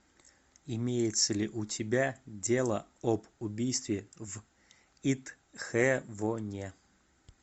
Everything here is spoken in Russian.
имеется ли у тебя дело об убийстве в итхэвоне